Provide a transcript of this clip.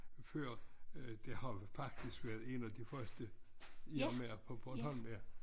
Før det har faktisk været én af de første Irma'er på Bornholm ja